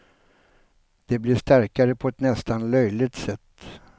De blir starkare på ett nästan löjligt sätt.